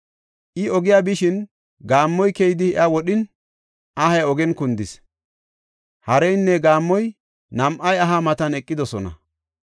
I ogiya bishin gaammoy keyidi iya wodhin, ahay ogiyan kundis; hareynne gaammoy nam7ay aha matan eqidosona.